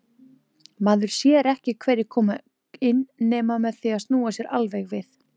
Maður sér ekki hverjir koma inn nema með því að snúa sér alveg við.